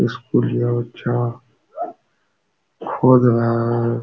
स्कूलिया बच्चा खोज रहा है।